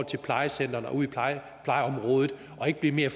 til plejecentrene og ud i plejeområdet og ikke mere